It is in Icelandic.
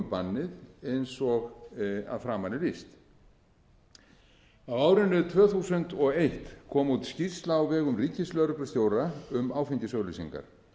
bannið eins og að framan er lýst á árinu tvö þúsund og eitt kom út skýrsla á vegum ríkislögreglustjóra um áfengisauglýsingar